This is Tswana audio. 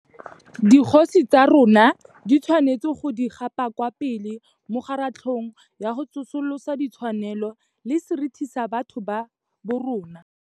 Dikgosi tsa rona di tshwanetse go di gapa kwa pele mo kgaratlhong ya go tsosolosa di tshwanelo le seriti sa batho ba borona.